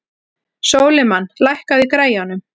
Sólimann, lækkaðu í græjunum.